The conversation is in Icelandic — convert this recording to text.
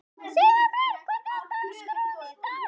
Sigurbjört, hvernig er dagskráin í dag?